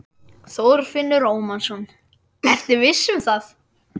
Þorfinnur Ómarsson: Ertu viss um það?